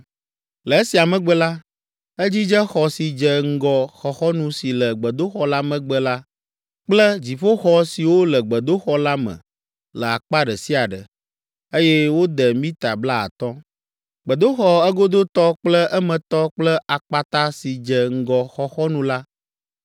Le esia megbe la, edzidze xɔ si dze ŋgɔ xɔxɔnu si le gbedoxɔ la megbe la kple dziƒoxɔ siwo le gbedoxɔ la me le akpa ɖe sia ɖe, eye wode mita blaatɔ̃. Gbedoxɔ egodotɔ kple emetɔ kple akpata si dze ŋgɔ xɔxɔnu la,